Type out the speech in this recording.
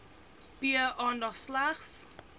p aandag slegs